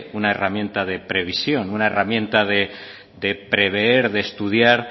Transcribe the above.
una herramienta de previsión una herramienta de prever de estudiar